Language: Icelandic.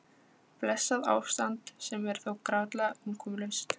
Blessað ástand sem er þó grátlega umkomulaust.